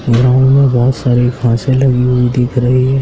Ground में बहोत सारी घासे लगी हुई दिख रही है।